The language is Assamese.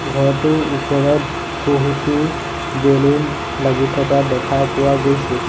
ঘৰটোৰ ওপৰত বহুতো বেলুন লাগি থকা দেখা পোৱা গৈছে।